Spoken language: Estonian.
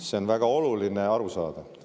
See on väga oluline aru saada.